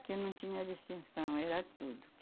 não tinha distinção, era tudo.